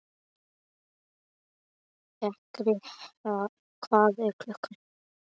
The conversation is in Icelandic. Feykir, hvað er klukkan?